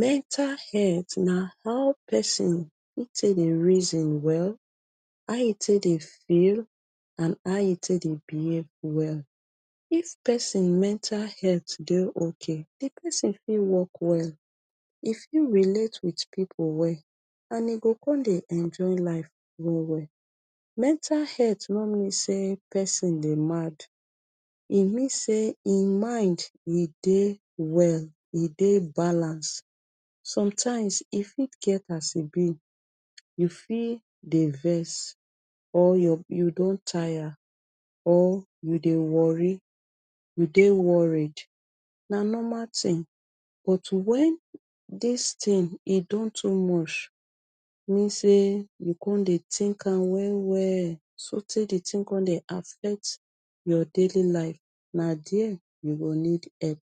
Mental het na how pesin take dey raise im well, how e take dey feel, and how e take dey behave well. If pesin mental het dey okay, di pesin fit work well, e fit relate with pipu well, and e go come dey enjoy life well well. Mental het no mean say pesin dey mad, e mean say im mind e dey well, e dey balance. Sometimes, e fit get as e be. You fit dey vess, or your you don tire, or you dey wori you dey worried. Na normal tin, but when dis tin e don too mush mean say you come dey tink am well well sotey di tin come dey affect your daily life. Na dea you go need epp.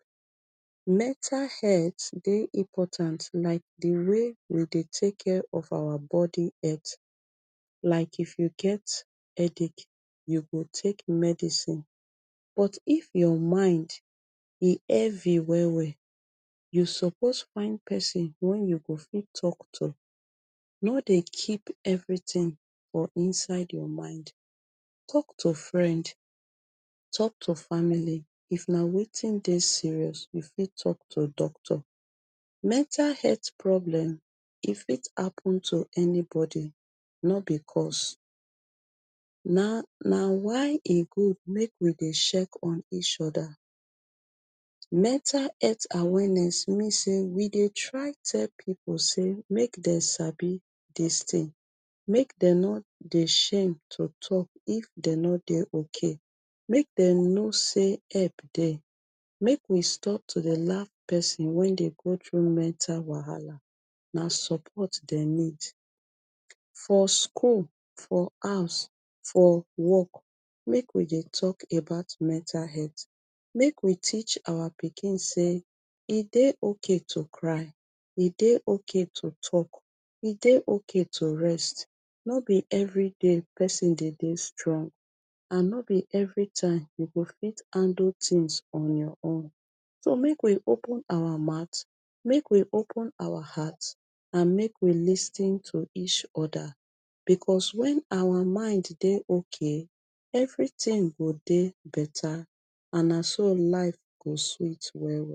Mental het dey important like di way we dey take care of our body het. Like if you get headache you go take medicine. But if your mind e hevi well well, you suppose find person wen you go fit talk to. No dey keep evritin for inside your mind. Talk to friend, talk to family, if na wetin dey serious, you fit talk to doctor. Mental het problem e fit happun to anybody no be cos. Na na why e good make we dey shek on each oda. Mental het awareness mean say we dey try tell pipu say make dem sabi dis tin, make dem no dey shem to tok if dey no dey okay. Make dem know say epp dey. Make we stop to dey laff pesin wen dey go through mental wahala, na support dem need. For school, for house, for work make we dey talk about mental het. Make we teach our pikin say e dey okay to cry, e dey okay to tok, e dey okay to rest. No be evri day pesin dey dey strong and no be evri time you go fit handle tins on your own. So make we open awa mouth, make we open awa hat and make we lis ten to each oda because when awa mind dey okay, evri tin go dey beta and na so life go sweet well well.